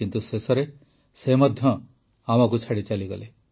କିନ୍ତୁ ଶେଷରେ ସେ ମଧ୍ୟ ଆମକୁ ଛାଡ଼ି ଚାଲିଗଲେ